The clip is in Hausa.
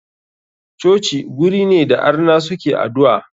Coci guri ne da arna suke adu'a.